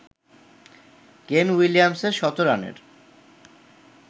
কেন উলিয়ামসনের শতরানের